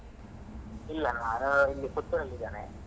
ಇಲ್ಲ ನಾನು ಇಲ್ಲಿ Puttur ಲ್ಲಿ ಇದೇನೆ.